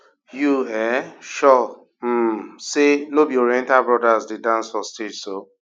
you um sure um say no be oriental brothers dey dance for stage so